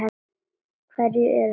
Hverjir eru það?